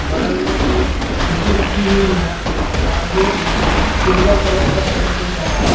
बगल में एक कुर्सी रखी हुई है और ये सिल्वर कलर का शटर दिख रहा है।